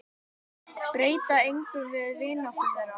Breytti engu um vináttu þeirra.